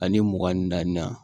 Ani mugan ni naani na